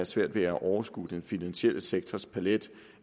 svært ved at overskue den finansielle sektors palet